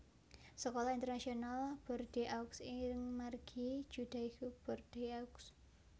Sekolah Internasional Bordeaux ing margi Judaique Bordeaux